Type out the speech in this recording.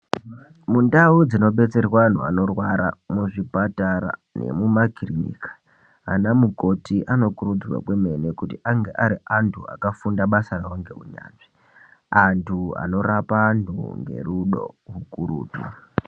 Mundau dzinodetserwa antu anorwara muzvipatara nemuma kirinika .Anamukoti anokurudzirwa kwemene kuti ange ari antu akafunda basa rawo ngeunyanzvi. Antu anorapa antu ngerudo rukurutu.